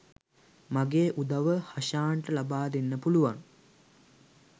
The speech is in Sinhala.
මගේ උදව්ව හෂාන්ට ලබා දෙන්න පුළුවන්